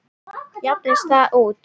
Jafnast það út?